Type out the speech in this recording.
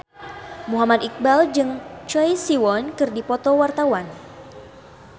Muhammad Iqbal jeung Choi Siwon keur dipoto ku wartawan